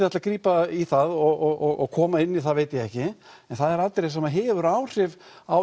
ætla að grípa í það og koma inn í það veit ég ekki en það er atriði sem hefur áhrif á